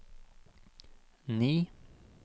ni